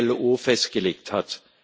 IAO festgelegt hat.